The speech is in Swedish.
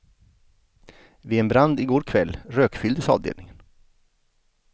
Vid en brand i går kväll rökfylldes avdelningen.